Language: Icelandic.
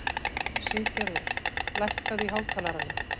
Siggerður, lækkaðu í hátalaranum.